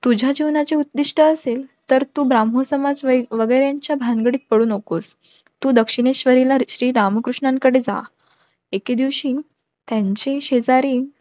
तुझ्या जीवनाचे उद्दिष्ट असेल तर तू समाज वगेऱ्यांच्या भानगडीत पडू नकोस. तू तू दक्षिणेश्वरला श्री रामकृश्नांकडे जा. एकेदिवशी त्यांचे शेजारी